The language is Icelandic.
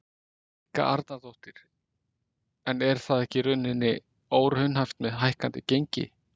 Helga Arnardóttir: En er það ekki í rauninni óraunhæft með hækkandi gengi?